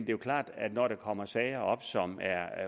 jo klart at når der kommer sager op som er